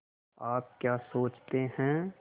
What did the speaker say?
आप क्या सोचते हैं